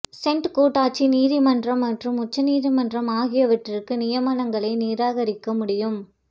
senate கூட்டாட்சி நீதிமன்றங்கள் மற்றும் உச்ச நீதிமன்றம் ஆகியவற்றிற்கு நியமனங்களை நிராகரிக்க முடியும்